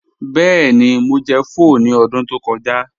Bẹẹni, Mo jẹ̀ pho ni ọdún tó kọja